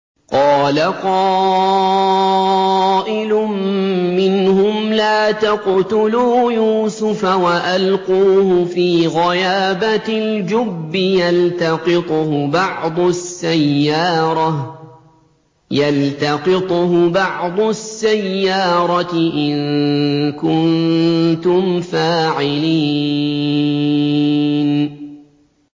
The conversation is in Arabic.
قَالَ قَائِلٌ مِّنْهُمْ لَا تَقْتُلُوا يُوسُفَ وَأَلْقُوهُ فِي غَيَابَتِ الْجُبِّ يَلْتَقِطْهُ بَعْضُ السَّيَّارَةِ إِن كُنتُمْ فَاعِلِينَ